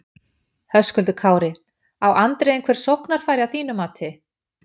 Höskuldur Kári: Á Andri einhver sóknarfæri að þínu mati?